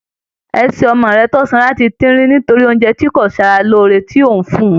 Ẹsẹ̀ ọmọ rẹ tó sanra ti tínrín nítorí oúnjẹ tí kò ṣe ara lóore tí ò ń fún un